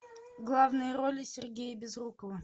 главные роли сергея безрукова